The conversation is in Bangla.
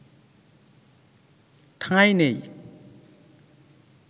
ঠাঁই নেই